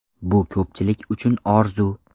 Bu ko‘pchilik uchun orzu!